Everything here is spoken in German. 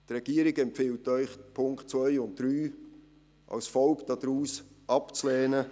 Die Regierung empfiehlt Ihnen, die Punkte 2 und 3 als Folge daraus abzulehnen.